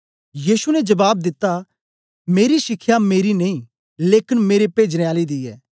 यीशु ने जबाब दिता मेरा शिखया मेरी नेई लेकन मेरे पेजने आले दी ऐ